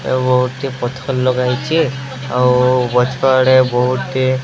ଗୋଟିଏ ପଥର ଲଗାହେଇଚି ଆଉ ପଛ ଆଡେ ବୋହୁ ଟିଏ --